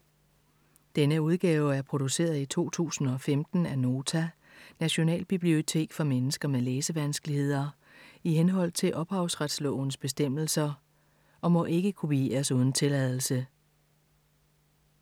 Denne udgave er produceret i 2015 af Nota - Nationalbibliotek for mennesker med læsevanskeligheder, i henhold til ophavsrettes bestemmelser, og må ikke kopieres uden tilladelse.